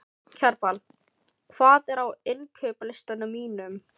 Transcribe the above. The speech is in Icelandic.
Kjarval, hvað er á innkaupalistanum mínum?